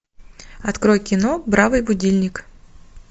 открой кино бравый будильник